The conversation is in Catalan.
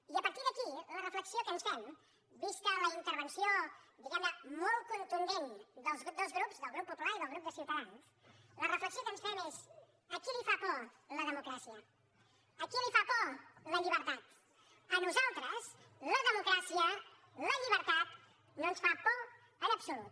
i a partir d’aquí la reflexió que ens fem vista la intervenció diguem ne molt contundent dels dos grups del grup popular i del grup de ciutadans la reflexió que ens fem és a qui li fa por la democràcia a qui li fa por la llibertat a nosaltres la democràcia la llibertat no ens fan por en absolut